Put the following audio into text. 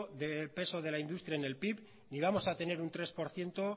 de peso de la industria en el pib ni vamos a tener un tres por ciento